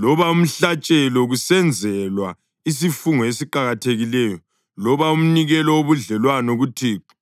loba umhlatshelo, kusenzelwa isifungo esiqakathekileyo loba umnikelo wobudlelwano kuThixo,